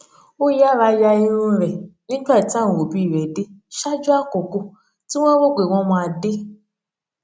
ó yára ya irun rè nígbà tí àwọn òbí rè dé ṣáájú àkókò tí wón rò pé wọn máa dé